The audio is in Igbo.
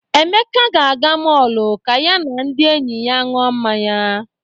Emeka ga-aga mọọlụ ka ya na ndị enyi ya ṅụọ mmanya.